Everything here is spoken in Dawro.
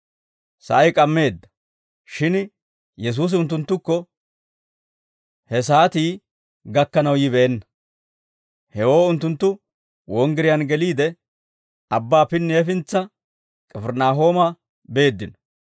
Sa'ay k'ammeedda; shin Yesuusi unttunttukko he saatii gakkanaw yibeenna; hewoo unttunttu wonggiriyaan geliide, abbaa pinni hefintsa K'ifirinaahooma beeddino.